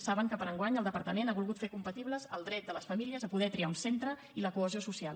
saben que per a enguany el departament ha volgut fer compatibles el dret de les famílies a poder triar un centre i la cohesió social